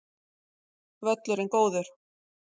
Völlurinn góður